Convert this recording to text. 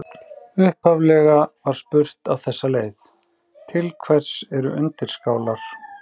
Upphaflega var spurt á þessa leið: Til hvers eru undirskálar?